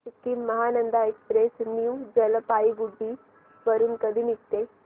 Sikkim Mahananda express new Jalpaiguri वरून कधी निघते